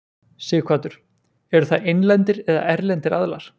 Sighvatur: Eru það innlendir eða erlendir aðilar?